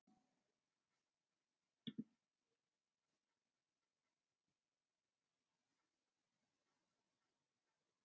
Heimir: Já, og færð svo eitthvað frá Tryggingastofnun eða?